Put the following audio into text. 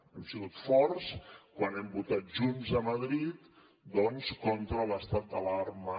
hem sigut forts quan hem votat junts a madrid doncs contra l’estat d’alarma